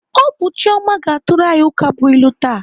Ọ bụ Chioma ga-atụrụ anyị ukabụilu taa.